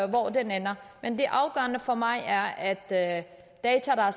hvor den ender men det afgørende for mig er at at data der er